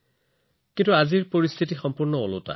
কিন্তু আজি পৰিস্থিতি বিপৰীত